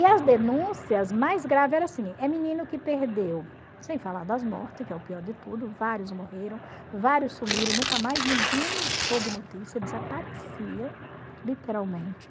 E as denúncias mais graves eram assim, é menino que perdeu, sem falar das mortes, que é o pior de tudo, vários morreram, vários sumiram, nunca mais ninguém soube notícia, desaparecia, literalmente.